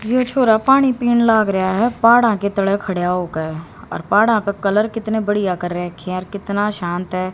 यह छोरा पानी पीने लाग रह्या है बाड़ा की तरह खड़े हो गए और बाड़ा के कलर कितने बढ़िया कर रखे हैं कितना शांत है।